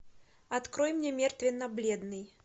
открой мне мертвенно бледный